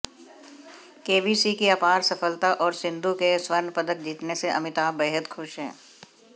KBC की अपार सफलता और सिंधू के स्वर्ण पदक जीतने से अमिताभ बेहद खुश हैं